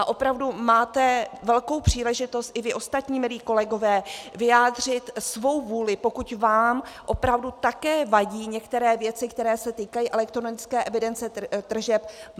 A opravdu máte velkou příležitost i vy ostatní, milí kolegové, vyjádřit svou vůli, pokud vám opravdu také vadí některé věci, které se týkají elektronické evidence tržeb.